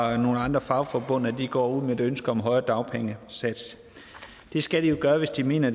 og nogle andre fagforbund går ud med et ønske om en højere dagpengesats det skal de jo gøre hvis de mener